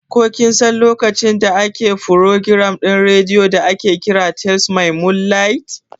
Ko kinsan lokacin da ake furogiram ɗin radio da aƙe ƙira "tales my moonlight"?